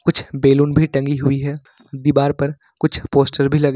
कुछ बैलून भी टंगी हुई है दीवार पर कुछ पोस्टर भी लग--